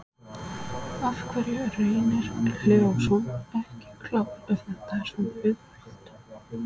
Af hverju er Reynir Leósson ekki klár ef þetta er svona auðvelt?